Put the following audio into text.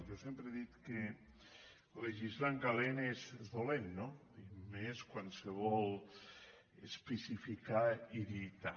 jo sempre he dit que legislar en calent és dolent no i més quan se vol especificar i dictar